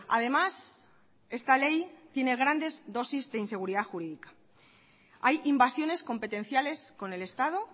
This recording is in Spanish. además esta ley tiene grandes dosis de inseguridad jurídica hay invasiones competenciales con el estado